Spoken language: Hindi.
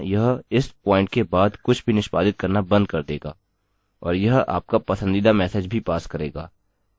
यहाँ यह इस प्वॉइंट के बाद से कुछ भी निष्पादित करना बंद कर देगा